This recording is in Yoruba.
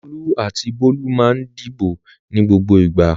Olú àti Bólú máa ń dìbò ní gbogbo ìgbà.